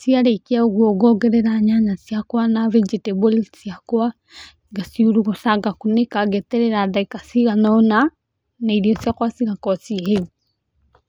Cĩa rekĩa ũgũo ngogerera nyanya cĩakwa na vegetables cĩakwa, ngacĩũrũgũca ngakũnĩka ngeterera dagĩka cĩganona na ĩrĩo cĩakwa cĩgakorwo cĩhĩũ.